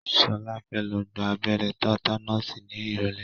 Ṣọlá fẹ́ lọ gba abẹ́rẹ́ tátánọ́ọ̀sì ní ìrọ̀lẹ́.